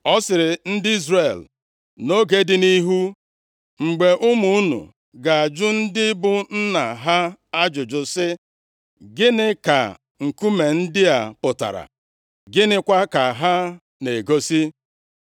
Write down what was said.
Ọ sịrị ndị Izrel, “Nʼoge dị nʼihu, mgbe ụmụ unu ga-ajụ ndị bụ nna ha ajụjụ sị, ‘Gịnị ka nkume ndị a pụtara, Gịnịkwa ka ha na-egosi?’